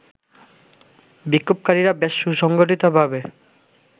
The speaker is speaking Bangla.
বিক্ষোভকারীরা বেশ সুসংগঠিতভাবে